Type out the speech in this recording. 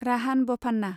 राहान बफान्ना